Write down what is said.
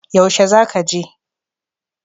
Yaushe za ka je?